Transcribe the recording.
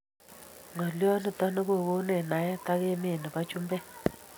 ngaliot niton kokonech naiet ak emet nebo chumbek